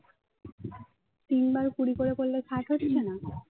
তিনবার কুড়ি করে করলে ষাট হচ্ছে না